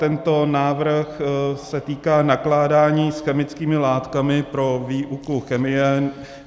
Tento návrh se týká nakládání s chemickými látkami pro výuku chemie.